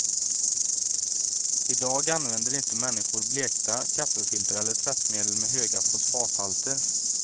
I dag använder inte människor blekta kaffefilter eller tvättmedel med höga fosfathalter.